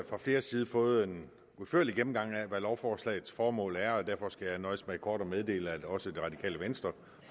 fra flere sider fået en udførlig gennemgang af hvad lovforslagets formål er og derfor skal jeg nøjes med kort at meddele at også det radikale venstre